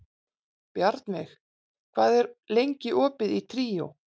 Bjarnveig, hvað er lengi opið í Tríó?